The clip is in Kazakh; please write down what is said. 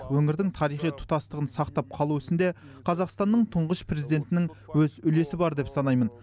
өңірдің тарихи тұтастығын сақтап қалу ісінде қазақстанның тұңғыш президентінің өз үлесі бар деп санаймын